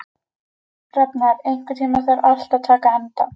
Rafnar, einhvern tímann þarf allt að taka enda.